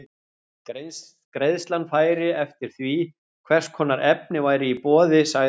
Greiðslan færi eftir því, hvers konar efni væri í boði, sagði hann.